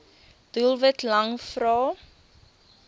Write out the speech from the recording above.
doelwit lang vrae